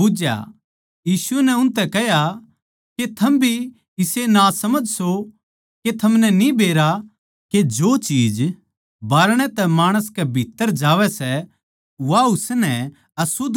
यीशु नै उनतै कह्या के थम भी इसे नासमझ सो के थमनै न्ही बेरा के जो चीज बाहरणै तै माणस कै भीत्त्तर जावै सै वा उसनै अशुध्द कोनी कर सकदी